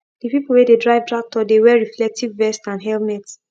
the people wey dey drive tractor dey wear reflective vest and helmet